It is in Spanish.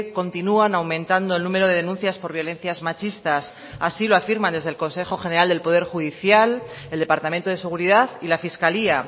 continúan aumentando el número de denuncias por violencias machistas así lo afirman desde el consejo general del poder judicial el departamento de seguridad y la fiscalía